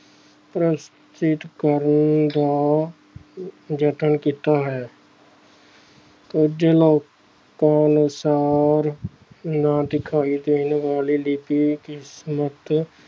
ਪ੍ਰਸਤੁਤ ਕਰਨ ਦਾ ਯਤਨ ਕੀਤਾ ਹੈ ਕੁੱਝ ਲੋਕਾਂ ਅਨੁਸਾਰ ਨਾ ਦਿਖਾਈ ਦੇਣ ਵਾਲੀ ਕਿਸਮਤ